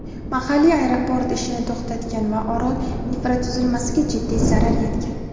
mahalliy aeroport ishini to‘xtatgan va orol infratuzilmasiga jiddiy zarar yetgan.